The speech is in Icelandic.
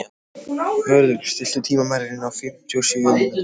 Vörður, stilltu tímamælinn á fimmtíu og sjö mínútur.